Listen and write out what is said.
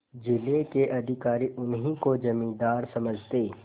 जिले के अधिकारी उन्हीं को जमींदार समझते